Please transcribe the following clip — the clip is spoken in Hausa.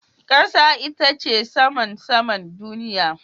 Kasa ita ce saman saman duniya.